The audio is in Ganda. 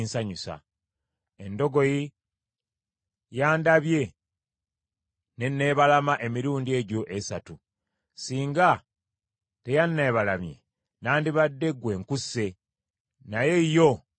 Endogoyi yandabye n’enneebalama emirundi egyo esatu. Singa teyanneebalamye, nandibadde ggwe nkusse, naye yo nga ngirese.”